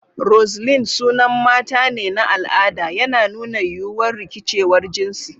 Roseline sunan mata ne na al'ada, yana nuna yiwuwar rikicewar jinsi.